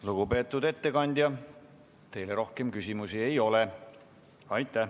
Lugupeetud ettekandja, teile rohkem küsimusi ei ole.